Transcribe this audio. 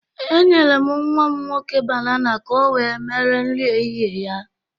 Enyere m nnwa m nwoke banana ka o wee mere nri ehịhịe ya.